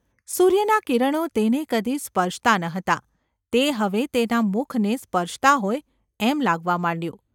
સૂર્યનાં કિરણો તેને કદી સ્પર્શતાં ન હતાં તે હવે તેના મુખને સ્પર્શતાં હોય એમ લાગવા માંડ્યું.